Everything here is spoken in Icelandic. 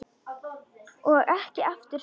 Og ekki aftur snúið.